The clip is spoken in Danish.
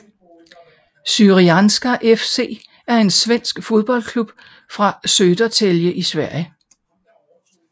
Syrianska FC er en svensk fodboldklub fra Södertälje i Sverige